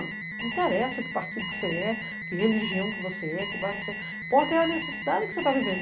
Não interessa que partido que você é, que religião que você é, que bairro que você é. O que importa é a necessidade que você está vivendo.